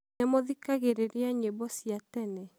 nĩmũthikagĩrĩria nyĩmbo cia tene?